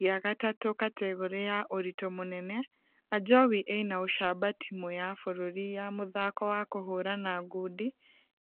gĩa gatatũ kategore ya ũritũ mũnene , ajowi ĩnaũcamba timũ ya bũrũri ya mũthako wa kũhũrana ngundi